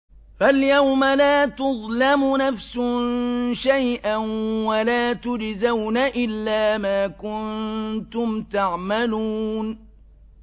فَالْيَوْمَ لَا تُظْلَمُ نَفْسٌ شَيْئًا وَلَا تُجْزَوْنَ إِلَّا مَا كُنتُمْ تَعْمَلُونَ